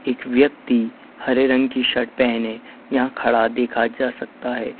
एक व्यक्ति हरे रंग की शर्ट पहने यहां खड़ा देखा जा सकता है।